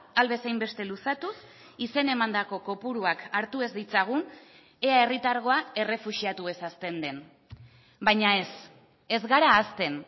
ahal bezain beste luzatuz izen emandako kopuruak hartu ez ditzagun ea herritargoa errefuxiatuez hazten den baina ez ez gara hazten